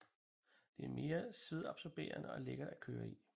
Det er mere svedabsorberende og lækkert at køre i